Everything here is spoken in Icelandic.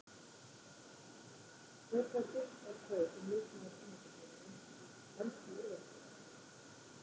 Hver fær þitt atkvæði sem leikmaður tímabilsins í ensku úrvalsdeildinni?